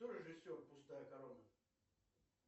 кто режиссер пустая корона